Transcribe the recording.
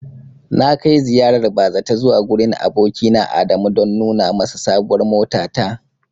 Na kai ziyarar bazata zuwa gurin abokina Adamu don nuna masa sabuwar motata.